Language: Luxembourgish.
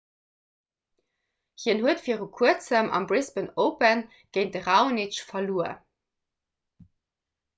hien huet vir kuerzem am brisbane open géint de raonic verluer